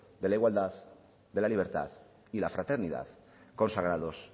de la igualdad de la libertad y la fraternidad consagrados